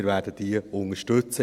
Wir werden diese unterstützen.